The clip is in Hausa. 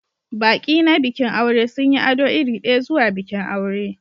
Baƙi na bikin aure sun yi ado iri ɗaya zuwa bikin aure